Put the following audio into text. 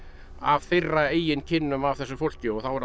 af þeirra eigin kynnum af þessu fólki og þá